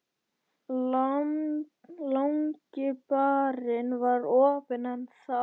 Langi barinn var opinn enn þá.